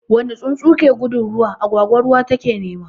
Wani tsuntsu ke gudun ruwa, agwagwa ruwa take nema.